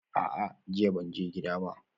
A'a, jiya ban je gidan ibada ba